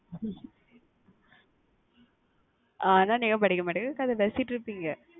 ஹம் ஆனா நீங்க படிக்க மாட்டிக கதை பேசிட்டுருப்பீங்க